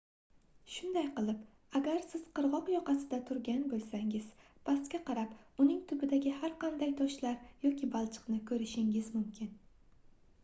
shunday qilib agar siz qirgʻoq yoqasida turgan boʻlsangiz pastga qarab uning tubidagi har qanday toshlar yoki balchiqni koʻrishingiz mumkin